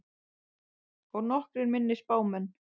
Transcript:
Og nokkrir minni spámenn.